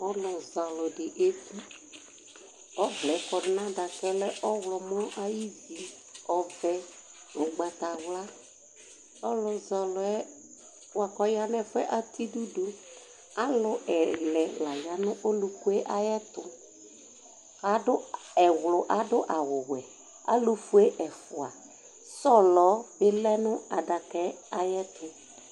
ɔlo zɛ alo di eku ɔvlɛ kɔdu n'adakaɛ lɛ ɔwlɔmɔ ay'ivi ɔvɛ ugbata wla ɔlu zɛ ɔloɛ boa ko ɔya n'ɛfoɛ atɛ idu do alo ɛlɛ la ya n'ɔlukue ayɛto ado ewlo ado awu wɛ alofue ɛfua sɔlɔ bi lɛ no adakaɛ ayɛto